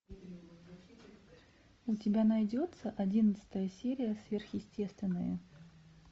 у тебя найдется одиннадцатая серия сверхъестественное